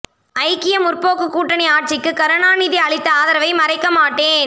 ஐக்கிய முற்போக்கு கூட்டணி ஆட்சிக்கு கருணாநிதி அளித்த ஆதரவை மறைக்க மாட்டேன்